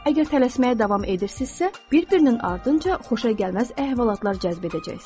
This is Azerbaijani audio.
Əgər tələsməyə davam edirsinizsə, bir-birinin ardınca xoşagəlməz əhvalatlar cəzb edəcəksiniz.